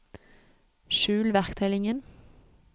skjul verktøylinjen